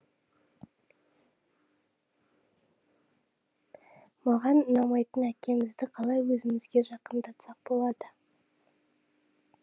маған ұнамайтыны әкемізді қалай өзімізге жақындатсақ болады